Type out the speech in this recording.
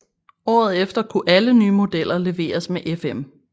Året efter kunne alle nye modeller leveres med FM